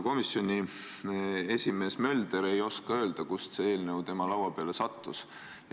Komisjoni esimees Mölder ei oska öelda, kust see eelnõu tema laua peale sattus.